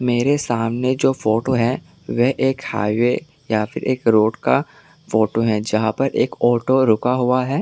मेरे सामने जो फोटो है वे एक हाईवे या फिर एक रोड का फोटो है जहां पर एक ऑटो रुका हुआ है।